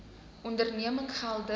onderneming geld dus